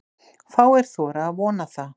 Fáir þora að vona það.